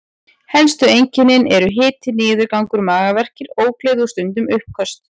Helstu einkennin eru hiti, niðurgangur, magaverkir, ógleði og stundum uppköst.